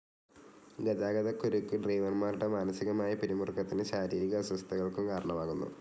ഗതാഗതക്കുരുക്കു് ഡ്രൈവർമാരുടെ മാനസികമായ പിരിമുറുക്കത്തിനും ശാരീരിക അസ്വസ്ഥകൾക്കും കാരണമാകുന്നു.